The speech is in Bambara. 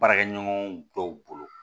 Baarakɛɲɔgɔn dɔw bolo